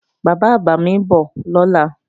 Bàbá-àgbà mi ń bọ̀ lọ́la